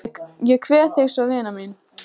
Ég kveð þig svo vina mín.